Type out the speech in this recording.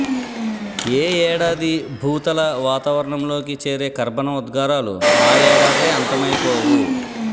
ఏ ఏడాది భూతల వాతావరణంలోకి చేరే కర్బన ఉద్గారాలు ఆ యేడాదే అంతమైపోవు